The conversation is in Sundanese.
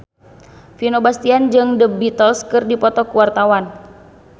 Vino Bastian jeung The Beatles keur dipoto ku wartawan